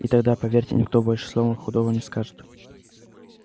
и тогда поверьте никто больше слова худого не скажет